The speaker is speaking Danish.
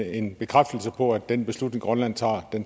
en bekræftelse på at den beslutning grønland tager